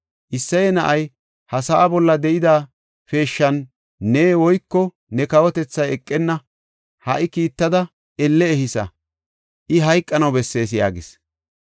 Isseye na7ay ha sa7a bolla de7ida peeshan ne woyko ne kawotethay eqenna. Ha77i kiittada elle ehisa; I hayqanaw bessees” yaagis.